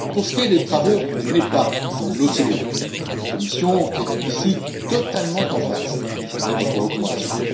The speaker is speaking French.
Pour ce qui est des travaux menés par l'OCDE, la Commission est ici totalement en phase avec votre recommandation.